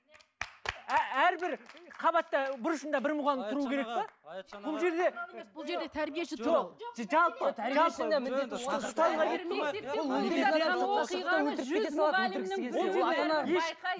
әрбір қабатта бұрышында бір мұғалім тұруы керек пе